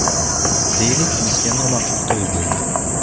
Deylik, bizga noma’qul to‘y bo‘ldi.